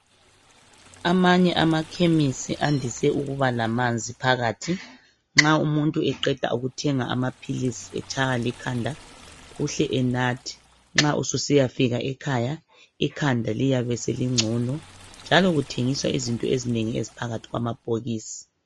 Amanye amakhemisi andise ukuba lamanzi phakathi. Nxa umuntu eqeda ukuthenga amaphilisi etshaywa likhanda, uhle enathe. Nxa ususiyafika ekhaya ikhanda liyabe selingcono, njalo kuthengiswa izinto ezinengi eziphakathi kwamabhokisi.